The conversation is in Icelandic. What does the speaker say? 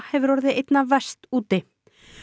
hefur orðið einna verst úti